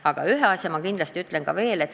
Aga ühe asja ma ütlen veel.